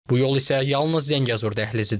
Bu yol isə yalnız Zəngəzur dəhlizidir.